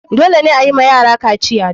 Dole ne ayiwa yara kaciya.